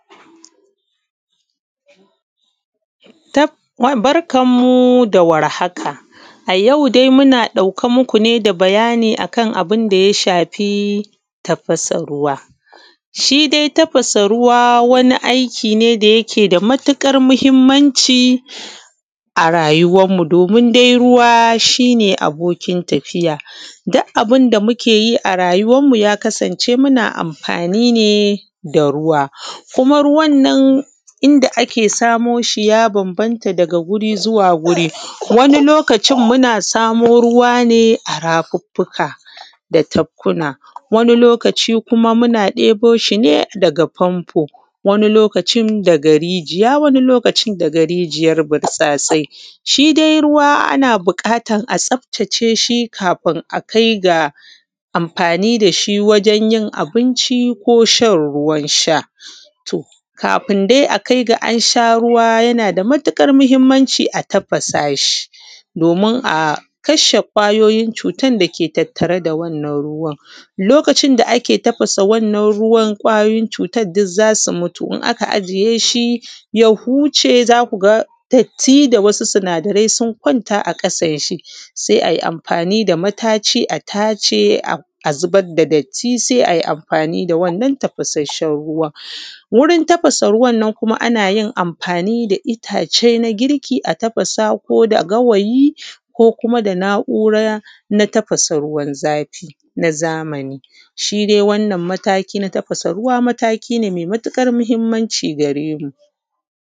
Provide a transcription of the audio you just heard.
Barkan mu dawar haka. A yau dai muna ɗauke muku da bayani akan abunda ya shafi tafasa ruwa. Shi dai tafasa ruwa wani aiki ne da yake da matuƙar mahimmanci a rayuwan mu domin dai ruwa shine abokin tafiya duk abunda mukeyi a rayuwan mu ya kasance muna amfani ne da ruwa. Kuma ruwannan inda ake samo shi ya danganata daga wuri zuwa wuri, wani lokacin muna samo ruwa ne a rafuffuka da tafkukkuna, wani lokaci kuma muna ɗeboshi ne daga famfo, wani lokacin daga rijiya wani lokacin daga rijiyar butsatsai. Shi dai ana buƙatan a tsaftace shi kafin akai ga wajen yin abinci koshan ruwan sha. Kafin dai a kaiga ansha ruwa yanada matuƙar mahimmanci a tafasa shi domin a kasha kwayoyin cutan dake tattare da wannan ruwan. Lokacin da ake tafasa wannan ruwan kwayoyi cutan duk zasu mutu in aka ajiye shi ya huce datti da wasu sinada rai sun kwanta a ƙasan shi sai ai amfani da mataci a tace sannan ayi amfani da wannan ruwan tafasashen ruwan. Wurin tafasa ruwa anayin mafani da ittace na girki a tafasa koda gawayi ko kuma da na’ura na tafasa ruwan na zamani. Shi dai wannan mataki na tafasa ruwa mataki ne mai matuƙar mahimmanci gare mu.